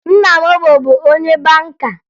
Nna m bụbu onye banka